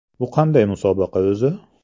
Bu qanday musobaqa o‘zi?